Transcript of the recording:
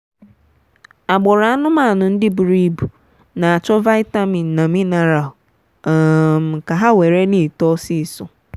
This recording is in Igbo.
agbụrụ anụmanụ ndị buru ibu na achọ vitamin na mineral um ka ha were na etọ ọsịsọ.